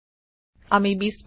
আমি ২০ পাম